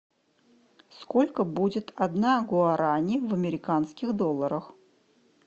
сколько будет одна гуарани в американских долларах